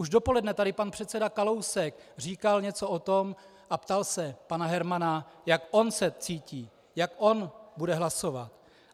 Už dopoledne tady pan předseda Kalousek říkal něco o tom a ptal se pana Hermana, jak on se cítí, jak on bude hlasovat.